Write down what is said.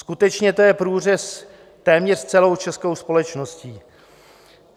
Skutečně to je průřez téměř celou českou společností.